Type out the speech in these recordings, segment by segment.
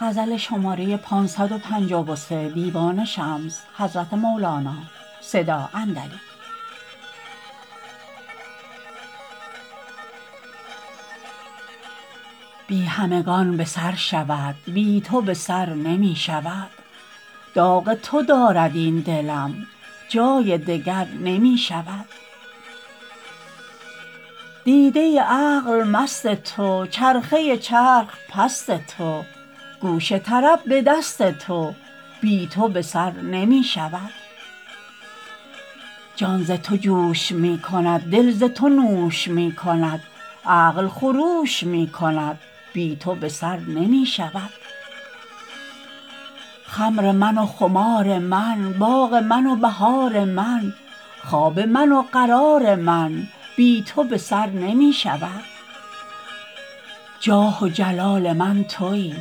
بی همگان به سر شود بی تو به سر نمی شود داغ تو دارد این دلم جای دگر نمی شود دیده عقل مست تو چرخه چرخ پست تو گوش طرب به دست تو بی تو به سر نمی شود جان ز تو جوش می کند دل ز تو نوش می کند عقل خروش می کند بی تو به سر نمی شود خمر من و خمار من باغ من و بهار من خواب من و قرار من بی تو به سر نمی شود جاه و جلال من تویی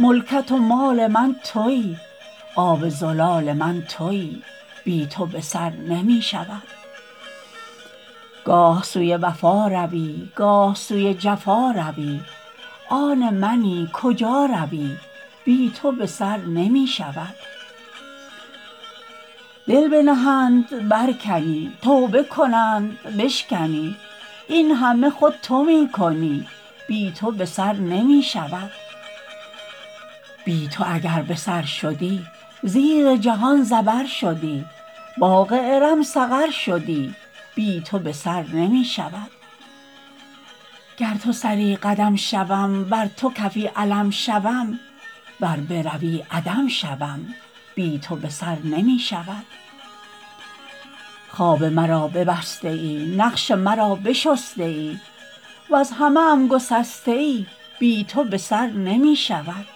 ملکت و مال من تویی آب زلال من تویی بی تو به سر نمی شود گاه سوی وفا روی گاه سوی جفا روی آن منی کجا روی بی تو به سر نمی شود دل بنهند برکنی توبه کنند بشکنی این همه خود تو می کنی بی تو به سر نمی شود بی تو اگر به سر شدی زیر جهان زبر شدی باغ ارم سقر شدی بی تو به سر نمی شود گر تو سری قدم شوم ور تو کفی علم شوم ور بروی عدم شوم بی تو به سر نمی شود خواب مرا ببسته ای نقش مرا بشسته ای وز همه ام گسسته ای بی تو به سر نمی شود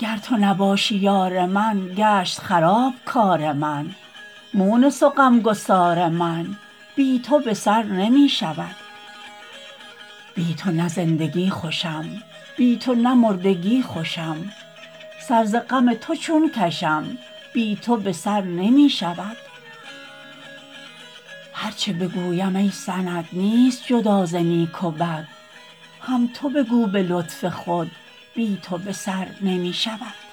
گر تو نباشی یار من گشت خراب کار من مونس و غم گسار من بی تو به سر نمی شود بی تو نه زندگی خوشم بی تو نه مردگی خوشم سر ز غم تو چون کشم بی تو به سر نمی شود هر چه بگویم ای سند نیست جدا ز نیک و بد هم تو بگو به لطف خود بی تو به سر نمی شود